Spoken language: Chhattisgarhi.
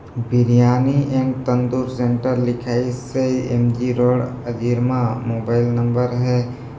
बिरयानी एण्ड तंदूर सेंटर लिखाइसे एम_जी रोड अजीरमा मोबाइल नंबर हे--